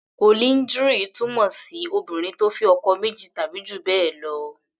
Polyndry túmọ̀ sí Obìnrin tó fẹ́ ọkọ méjì tàbí jù bẹ́ẹ̀ lọ.